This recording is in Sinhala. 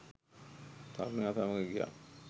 තරුණයා සමග ගියා.